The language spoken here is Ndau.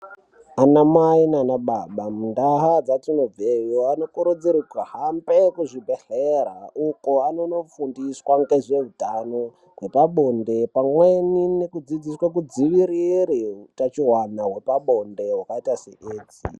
Anamai naanababa muntaa dzatinobveyo, anokurudzirwe kuhambe kuzvibhedhlere uko anonofundiswa ngezveutano hwepabonde, pamweni nekudzidziswe kudzivirire hutachiwana hwepabonde hwakaita seedzi.